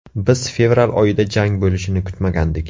Biz fevral oyida jang bo‘lishini kutmagandik.